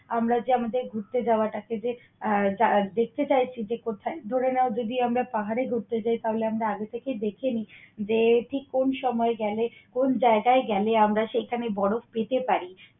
আমরা যে আমাদের ঘুরতে যাওয়া টাকে যে আহ দেখতে চাইছি যে, কোথায়। ধরে নাও, যদি আমরা পাহাড়ে ঘুরতে যাই তাহলে আমরা আগে থেকেই দেখে নেই যে এটি কোন সময় গেলে, কোন জায়গায় গেলে আমরা সেইখানে বরফ পেতে পারি